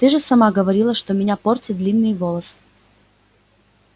ты же сама говорила что меня портят длинные волосы